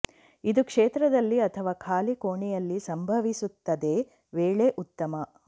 ಇದು ಕ್ಷೇತ್ರದಲ್ಲಿ ಅಥವಾ ಖಾಲಿ ಕೋಣೆಯಲ್ಲಿ ಸಂಭವಿಸುತ್ತದೆ ವೇಳೆ ಉತ್ತಮ